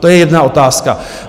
To je jedna otázka.